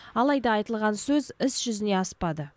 алайда айтылған сөз іс жүзіне аспады